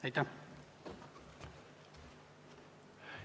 Aitäh!